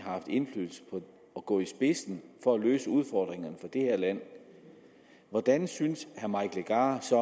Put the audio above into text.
har haft indflydelse på at gå i spidsen for at løse udfordringerne for det her land hvordan synes herre mike legarth